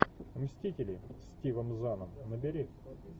мстители с стивом заном набери